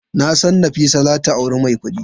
Nasan Nafisa zata auri mai kudi.